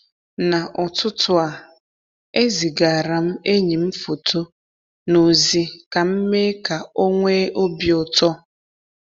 n'ụtụtụ a, ezigaara m enyi m foto na ozi ka m mee ka ọ nwee obi ụtọ.